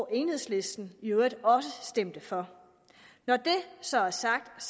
enhedslisten i øvrigt også stemte for når det så er sagt